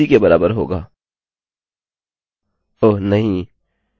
अतः यह बिलकुल उसकी के बराबर होगा ओह नहीं!